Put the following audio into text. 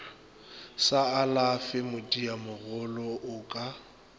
sa alafe madiamagolo o ka